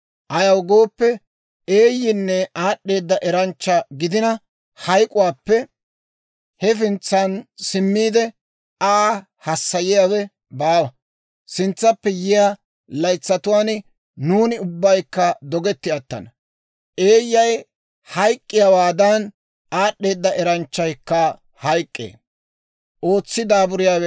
Ayaw gooppe, eeyyina aad'd'eeda eranchcha gidina, hayk'k'uwaappe hefintsan simmiide, Aa hassayiyaawe baawa; sintsappe yiyaa laytsatuwaan nuuni ubbaykka dogetti attana. Eeyyay hayk'k'iyaawaadan, aad'd'eeda eranchchaykka hayk'k'ee.